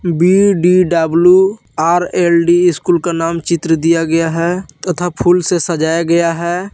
BDWRLD school का नाम चित्र दिया गया है तथा फूलों से सजाया गया है।